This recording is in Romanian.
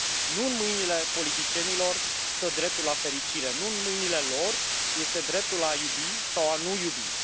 Nu în mâinile politicienilor stă dreptul la fericire, nu în mîinile lor este dreptul la a iubi sau a nu iubi.